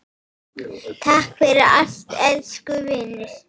Takk fyrir allt, elsku vinur.